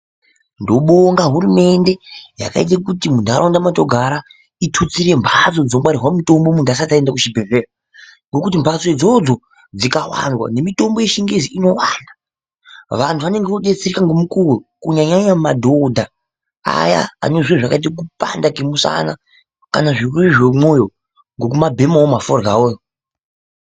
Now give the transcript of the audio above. Ndobonga hurumende yakaite kuti muntaraunda mwatogara itutsire mbhatso dzongaarirwa mitombo muntu asati aenda kuchibhedhleya. Ngekuti mbhatso idzodzo dzikawanda nemitombo yechingezi inowanda, vantu vanenge vodetsereka ngomukuwo. Kunyanyanya madhodha aya anezviro zvakaita kupanda kwemushana kana zvirwere zvemumwoyo ngekumabhemawo maforyawo.